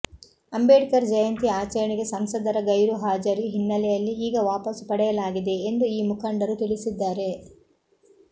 ಅಂಬೇಡ್ಕರ್ ಜಯಂತಿ ಆಚರಣೆಗೆ ಸಂಸದರ ಗೈರುಹಾಜರಿ ಹಿನ್ನೆಲೆಯಲ್ಲಿ ಈಗ ವಾಪಸು ಪಡೆಯಲಾಗಿದೆ ಎಂದು ಈ ಮುಖಂಡರು ತಿಳಿಸಿದ್ದಾರೆ